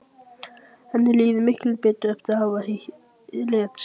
Henni líður miklu betur eftir að hafa létt á sér.